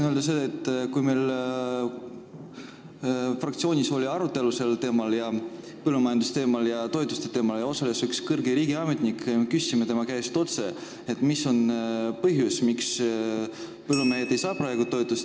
Kui meil fraktsioonis oli arutelu põllumajanduse ja toetuste teemal, kus osales üks kõrge riigiametnik, siis me küsisime temalt otse, mis on põhjus, miks põllumehed ei saa praegu toetust.